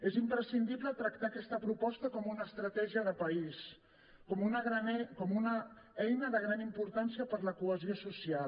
és imprescindible tractar aquesta proposta com una estratègia de país com una eina de gran importància per a la cohesió social